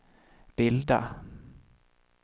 bilda